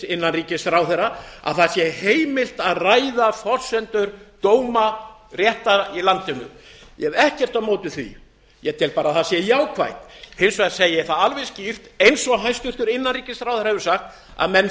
innanríkisráðherra að það sé heimilt að ræða forsendur dóma rétta í landinu ég hef ekkert á móti því ég tel bara að það sé jákvætt hins vegar segi ég það alveg skýrt eins og hæstvirtur innanríkisráðherra hefur sagt að menn